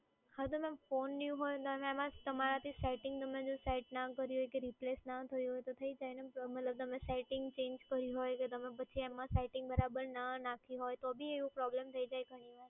હા તો ma'am phone new હોય અને તમે એમાં તમારાથી સેટિંગ તમે જો સેટ ના કર્યું હોય કે replace ના થયું તો થઈ જાય ને. મતલબ તમે સેટ્ટિંગ ચેંજ કરી હોય કે તમે પછી એમાં સેટ્ટિંગ બરાબર ના નાખી હોય તો બી એવો પ્રોબ્લેમ થઈ જાય ઘણીવાર.